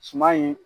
Suman in